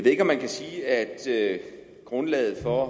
ikke om man kan sige at sige at grundlaget for